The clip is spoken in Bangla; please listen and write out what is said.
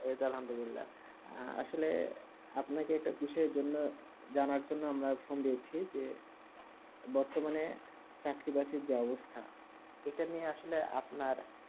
আসলে আপনাকে কিসের জোন জানার জন্যে যে বাড়তো মানে চাকরিবাকরি যাহা অবস্থা